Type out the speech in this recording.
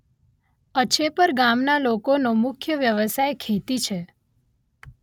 અછેપર ગામના લોકોનો મુખ્ય વ્યવસાય ખેતી છે